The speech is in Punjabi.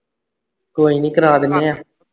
ਕੋਈ ਨਹੀਂ ਕਰਵਾ ਦਿੰਨੀ ਆਂ